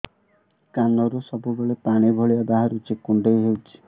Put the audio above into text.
କାନରୁ ସବୁବେଳେ ପାଣି ଭଳିଆ ବାହାରୁଚି କୁଣ୍ଡେଇ ହଉଚି